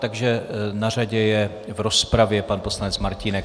Takže na řadě je v rozpravě pan poslanec Martínek.